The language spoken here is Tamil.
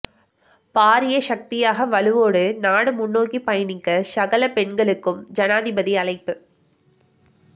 பாரிய சக்தியாக வலுவோடு நாடு முன்னோக்கி பயணிக்க சகல பெண்களுக்கும் ஜனாதிபதி அழைப்பு